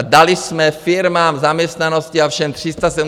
A dali jsme firmám, zaměstnanosti a všem 370 miliard!